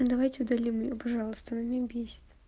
давайте удалим её пожалуйста она меня бесит